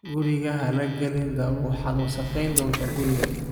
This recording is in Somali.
Guriga ha la gelin dhoobo, waxaad wasakhayn doontaa guriga.